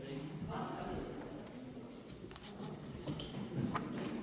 Istungi lõpp kell 10.36.